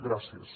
gràcies